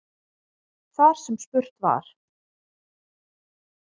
Þar sem spurt var